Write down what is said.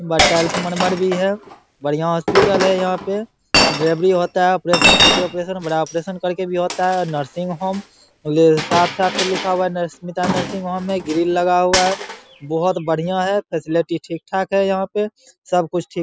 Murmur भी है। बढ़िया हॉस्पिटल यहाँ पे। भी होता है यहाँ पे ऑपरेशन छोटी ऑपरेशन बड़ा ऑपरेशन करके भी होता है। नर्सिंग होम ये साफ-साफ ये लिखा हुआ नरस्मिता नर्सिंग होम में ग्रिल लगा हुआ है। बोहोत बढ़िया है फैसिलिटी ठीक-ठाक है यहाँ पे। सब कुछ ठीक --